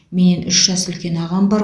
менен үш жас үлкен ағам бар